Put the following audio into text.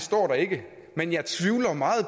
står der ikke men jeg tvivler meget